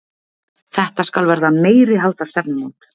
Þetta skal verða meiriháttar stefnumót!